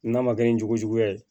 N'a ma kɛ ni juguya ye